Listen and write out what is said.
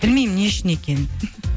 білмеймін не үшін екенін